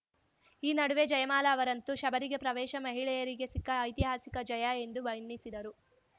ಈ ನಡುವೆ ಜಯಮಾಲಾ ಅವರಂತು ಶಬರಿಮಲೆಗೆ ಪ್ರವೇಶ ಮಹಿಳೆಯರಿಗೆ ಸಿಕ್ಕ ಐತಿಹಾಸಿಕ ಜಯ ಎಂದು ಬಣ್ಣಿಸಿದರು